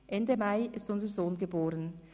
Ende Mai ist unser Sohn geboren.